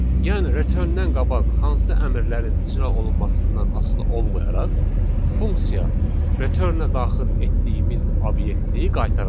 Yəni return-dən qabaq hansı əmrlərin icra olunmasından asılı olmayaraq, funksiya return-ə daxil etdiyimiz obyektii qaytaracaq.